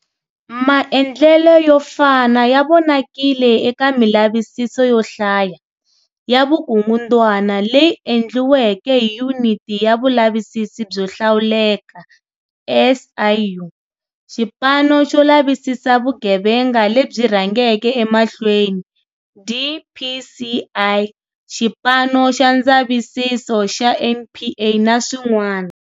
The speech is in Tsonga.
Maendlelo yo fana ya vonakile eka milavisiso yo hlaya ya vukungundwana leyi endliweke hi Yuniti ya Vulavisisi byo Hlawuleka, SIU, Xipano xo Lavisisa Vugevenga lebyi Rhangeke Emahlweni, DPCI, Xipano xa ndzavisiso xa NPA na swin'wana.